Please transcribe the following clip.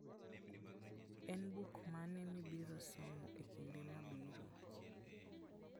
En buk mane mibiro somo e kinde mabiro?